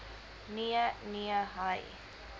nee nee hy